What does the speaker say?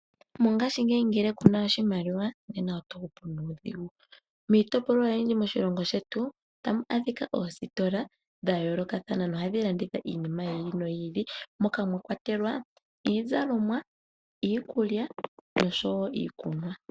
Mongashiingeyi ngele kuna oshimaliwa nena oto hupu nuudhigu. Miitopolwa oyindji moshilongo shetu otamu adhika oositola dha yoolokathana no hadhi landitha iinima yi ili noyi ili. Moka mwa kwatelwa iizalomwa, iikulya osho wo iikunwa.